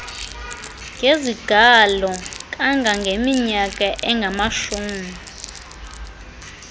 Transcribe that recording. ngezigalo kangangeminyaka engamashumi